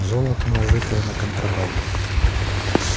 золото нажитое на контрабанде